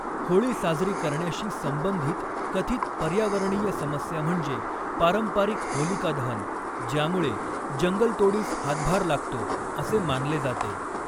होळी साजरी करण्याशी संबंधित कथित पर्यावरणीय समस्या म्हणजे पारंपरिक होलिकादहन, ज्यामुळे जंगलतोडीस हातभार लागतो असे मानले जाते.